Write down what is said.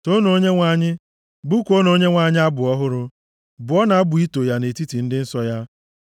Toonu Onyenwe anyị! Bụkuonụ Onyenwe anyị abụ ọhụrụ. Bụọnụ abụ ito ya nʼetiti ndị nsọ ya.